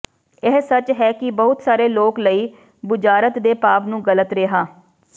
ਇਹ ਸੱਚ ਹੈ ਕਿ ਬਹੁਤ ਸਾਰੇ ਲੋਕ ਲਈ ਬੁਝਾਰਤ ਦੇ ਭਾਵ ਨੂੰ ਗਲਤ ਰਿਹਾ